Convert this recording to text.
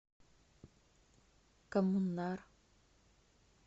коммунар